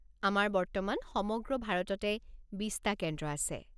আমাৰ বৰ্তমান সমগ্ৰ ভাৰততে ২০টা কেন্দ্ৰ আছে।